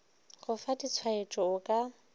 go fa ditshwaetšo o ka